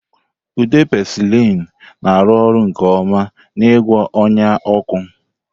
Ude penicillin na-arụ ọrụ nke ọma n'ịgwọ ọnya ọkụ.